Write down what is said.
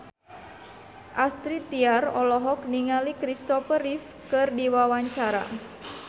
Astrid Tiar olohok ningali Christopher Reeve keur diwawancara